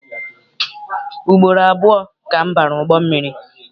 Ugboro abụọ ka m bara ụgbọ mmiri.